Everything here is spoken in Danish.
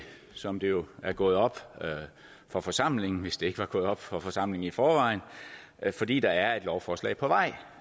som det jo er gået op for forsamlingen hvis det ikke var gået op for forsamlingen i forvejen fordi der er et lovforslag på vej